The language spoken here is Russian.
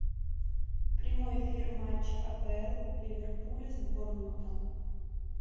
прямой эфир матча апл ливерпуля с борнмутом